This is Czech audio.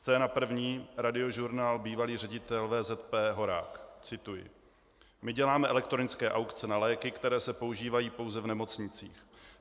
Scéna první, Radiožurnál, bývalý ředitel VZP Horák - cituji: "My děláme elektronické aukce na léky, které se používají pouze v nemocnicích.